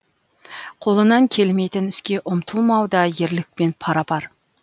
қолынан келмейтін іске ұмтылмау да ерлікпен пара пар